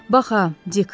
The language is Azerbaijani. Bax ha, Dik.